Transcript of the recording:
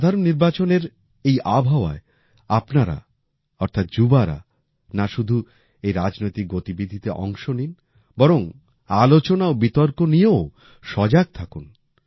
সাধারণ নির্বাচনের এই আবহাওয়ায় আপনারা অর্থাৎ যুবারা না শুধু এই রাজনৈতিক গতিবিধিতে অংশ নিন বরং আলোচনা ও বিতর্ক নিয়েও সজাগ থাকুন